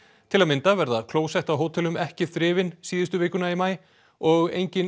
til að mynda verða klósett á hótelum ekki þrifin síðustu vikuna í maí og engin